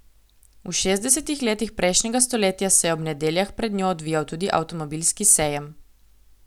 V šestdesetih letih prejšnjega stoletja se je ob nedeljah pred njo odvijal tudi avtomobilski sejem.